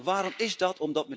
Waarom is dat?